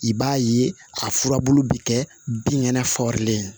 I b'a ye a furabulu bɛ kɛ binkɛnɛ fagarlen ye